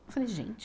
Eu falei, gente...